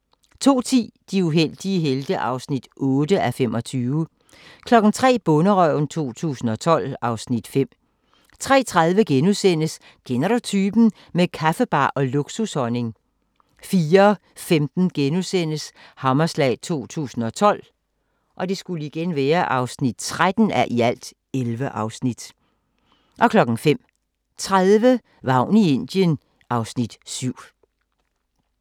02:10: De uheldige helte (8:24) 03:00: Bonderøven 2012 (Afs. 5) 03:30: Kender du typen? – med kaffebar og luksushonning * 04:15: Hammerslag 2012 (13:11)* 05:30: Vagn i Indien (Afs. 7)